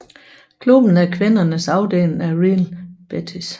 Klubben er kvindernes afdeling af Real Betis